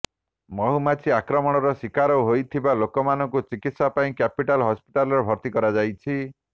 ମୁହୁମାଛି ଆକ୍ରମଣର ସିକାର ହୋଇଥିବା ଲୋକମାନଙ୍କୁ ଚିକିତ୍ସା ପାଇଁ କ୍ୟାପିଟାଲ ହସ୍ପିଟାଲରେ ଭର୍ତ୍ତି କରାଯାଇଛି